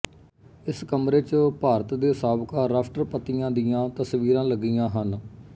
ਇਸ ਕਮਰੇ ਚ ਭਾਰਤ ਦੇ ਸਾਬਕਾ ਰਾਸ਼ਟਰਪਤੀਆਂ ਦੀਆਂ ਤਸਵੀਰਾਂ ਲੱਗੀਆਂ ਹਨ